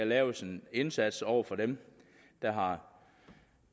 laves en indsats over for dem der har